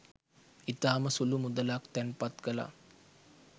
ඉතාම සුලු මුදලක් තැන්පත් කලා.